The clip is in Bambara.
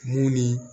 Mun ni